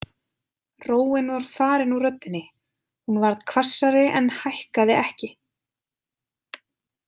Róin var farin úr röddinni, hún varð hvassari en hækkaði ekki.